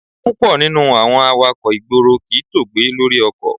Púpọ̀ nínú awakọ̀ ìgboro kì í tóògbé lórí ọkọ̀.